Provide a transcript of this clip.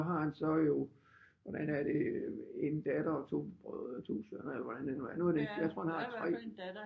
Har han så jo hvordan er det en datter og to brødre og to sønner eller hvordan det nu er jeg tror han har 3